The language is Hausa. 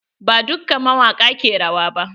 Ba dukka mawaƙa ke rawa ba.